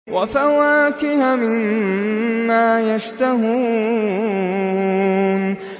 وَفَوَاكِهَ مِمَّا يَشْتَهُونَ